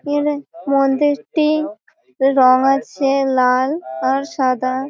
এখানে মন্দিরটি রং আছে লাল আর সাদা ।